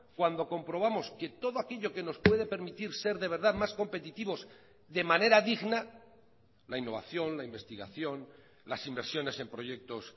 cuando comprobamos que todo aquello que nos puede permitir ser de verdad más competitivos de manera digna la innovación la investigación las inversiones en proyectos